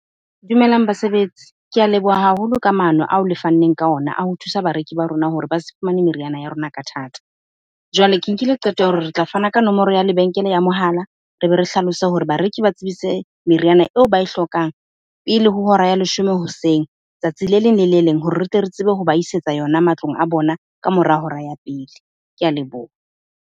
Dumelang basebetsi. Ke a leboha haholo ka maano ao le fanneng ka ona a ho thusa bareki ba rona hore ba se fumane meriana ya rona ka thata. Jwale ke nkile qeto ya hore re tla fana ka nomoro ya lebenkele ya mohala, re be re hlalose hore bareki ba tsebise meriana eo ba e hlokang pele ho hora ya leshome hoseng tsatsi le leng le le leng hore re tle re tsebe ho ba isetsa yona matlong a bona ka mora hora ya pele. Ke a leboha.